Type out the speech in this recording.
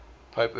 pope urban